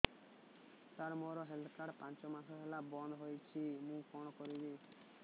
ସାର ମୋର health card ପାଞ୍ଚ ମାସ ହେଲା ବଂଦ ହୋଇଛି ମୁଁ କଣ କରିବି